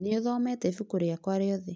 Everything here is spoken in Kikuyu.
Nĩũthomete ibuku rĩakwa rĩohe?